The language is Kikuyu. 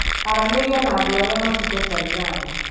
Aranĩria na andũ arĩa matungatagĩra andũ